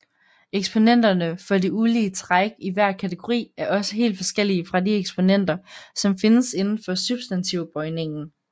Eksponenterne for de ulige træk i hver kategori er også helt forskellige fra de eksponenter som findes indenfor substantivbøjningen